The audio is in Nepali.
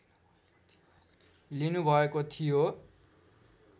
लिनुभएको थियो